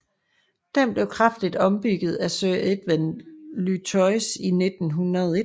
Den blev kraftigt ombygget af Sir Edwin Lutyens i 1901